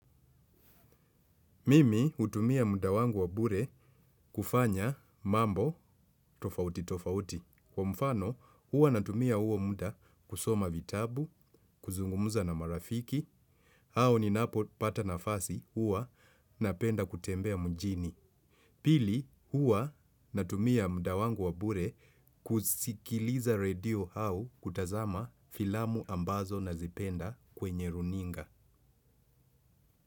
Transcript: Mimi hutumia muda wangu wa bure kufanya mambo tofauti tofauti. Kwa mfano, huwa natumia huo muda kusoma vitabu, kuzungumuza na marafiki, au ninapo pata nafasi huwa napenda kutembea mjini. Pili, huwa natumia muda wangu wa bure kusikiliza radio hau kutazama filamu ambazo nazipenda kwenye runinga.